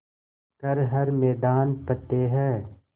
कर हर मैदान फ़तेह